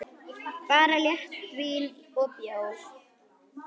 Bara léttvín og bjór.